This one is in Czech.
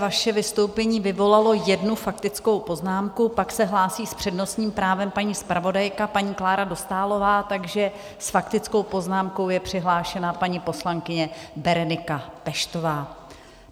Vaše vystoupení vyvolalo jednu faktickou poznámku, pak se hlásí s přednostním právem paní zpravodajka, paní Klára Dostálová, takže s faktickou poznámkou je přihlášena paní poslankyně Berenika Peštová.